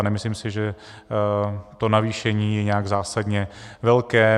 A nemyslím si, že to navýšení je nějak zásadně velké.